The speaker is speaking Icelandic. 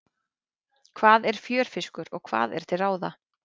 Hvað er fjörfiskur og hvað er til ráða?